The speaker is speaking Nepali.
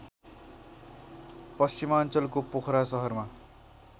पश्चिमाञ्चलको पोखरा सहरमा